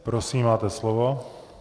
Prosím, máte slovo.